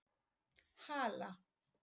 Hala